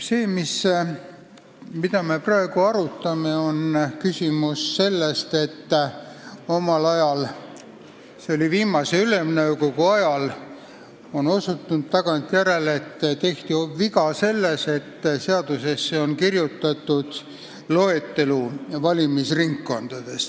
See, mida me praegu arutame, on küsimus sellest, et nagu on tagantjärele selgunud, tehti omal ajal, viimase Ülemnõukogu ajal, viga sellega, et seadusesse kirjutati valimisringkondade loetelu.